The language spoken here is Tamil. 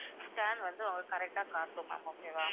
scan வந்து உங்களுக்கு correct ஆ காட்டும் ma'am okay வா